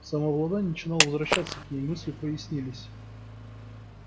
самообладание начинало возвращаться к ней мысли прояснялись